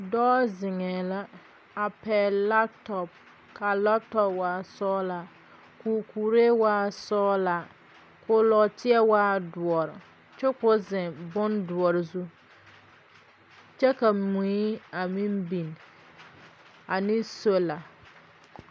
Dɔɔ ziŋɛɛ la a pɛgle kɔmpiita ka a kɔmpiita waa sɔglaa. A dɔɔ kuree waa la sɔglaa kyɛ ko nɔɔteɛ e dɔre kyɛ ka o ziŋ boŋdɔɔre zu. Mui meŋ biŋ la a be ane sola.